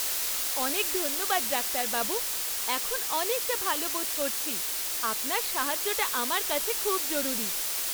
অনেক ধন্যবাদ ডাক্তারবাবু। এখন অনেকটা ভালো বোধ করছি। আপনার সাহায্যটা আমার কাছে খুব জরুরি।